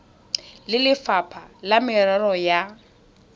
le lefapha la merero ya